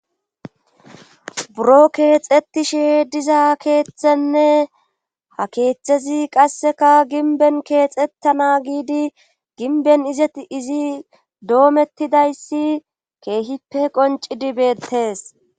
Buro keexettishe diza keeththenne ha keeththezi qasseka ginben keexettana giidi ginben izeti izi doomettidayssi keehippe qoncidi beettees.